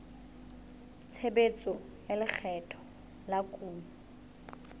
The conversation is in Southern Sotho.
tshebetso tsa lekgetho la kuno